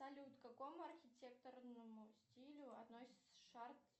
салют к какому архитектурному стилю относится